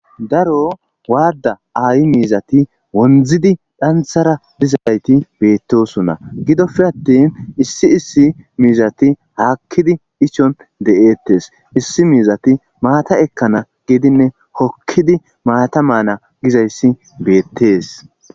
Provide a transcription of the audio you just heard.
daro waada ayi miizati wondzidi dhanthara dizayti beettosonna gidofi attin issi issi miizati haakkidi ichon de'eettes issi miizati maata ekkana gidinne hokkidi maata maana gizayssi beettees